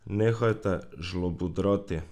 Nehajte žlobudrati!